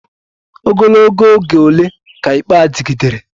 Ogologo oge ole ka ikpe a dịgidere?